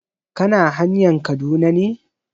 Kana hanayn Kaduna ne?